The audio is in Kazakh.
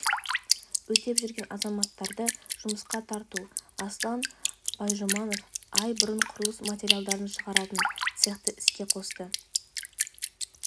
өтеп жүрген азаматтарды жұмысқа тарту аслан байжұманов ай бұрын құрылыс материалдарын шығаратын цехты іске қосты